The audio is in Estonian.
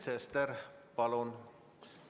Sven Sester, palun!